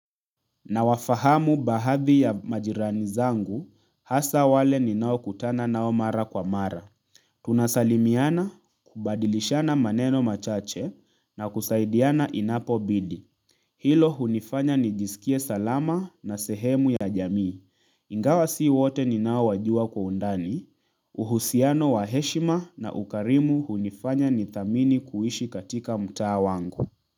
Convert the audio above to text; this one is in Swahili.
Nawafahamu baadhi ya majirani zangu hasa wale ninaokutana nao mara kwa mara Tunasalimiana, kubadilishana maneno machache na kusaidiana inapobidi. Hilo hunifanya nijisikie salama na sehemu ya jamii. Ingawa si wote ninaowajua kwa undani uhusiano wa heshima na ukarimu hunifanya nithamini kuishi katika mtaa wangu.